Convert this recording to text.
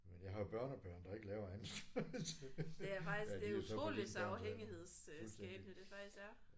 ¨Men jeg har jo børnebørn der ikke laver andet så det ja de er jo så på dine børns alder fuldstændig